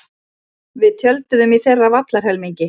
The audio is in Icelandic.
Við tjölduðum í þeirra vallarhelmingi.